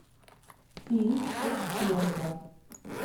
фильм секс пленка